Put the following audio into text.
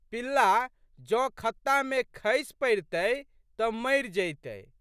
पिल्ला जौं खत्ता मे खसि पड़ितए तऽ मरि जइतए।